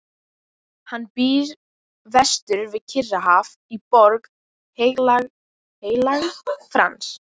Hann býr vestur við Kyrrahaf í Borg Heilags Frans.